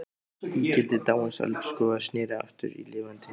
Ígildi dáins elskhuga sneri aftur í lifandi mynd.